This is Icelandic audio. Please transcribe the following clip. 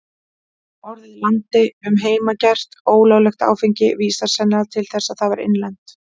Orðið landi um heimagert, ólöglegt áfengi, vísar sennilega til þess að það var innlent.